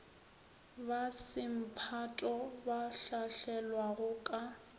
ba semphato ba hlahlelwago ka